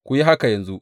Ku yi haka yanzu.